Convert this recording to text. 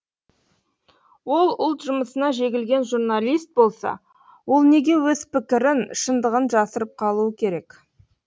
ол ұлт жұмысына жегілген журналист болса ол неге өз пікірін шындығын жасырып қалуы керек